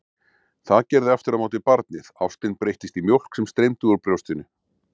Það gerði aftur á móti barnið, ástin breyttist í mjólk sem streymdi úr brjóstinu.